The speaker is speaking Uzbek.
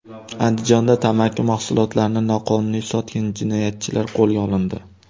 Andijonda tamaki mahsulotlarini noqonuniy sotgan jinoyatchilar qo‘lga olindi.